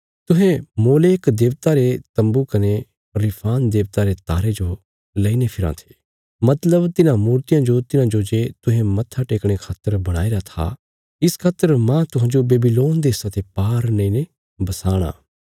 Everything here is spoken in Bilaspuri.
तुहें मोलेक देबता रे तम्बू कने रिफान देबता रे तारे जो लईने फिराँ थे मतलब तिन्हां मूर्तियां जो तिन्हांजो जे तुहें मत्था टेकणे खातर बणाईरा था इस खातर माह तुहांजो बेबीलोन देशा ते पार नेईने बसाणा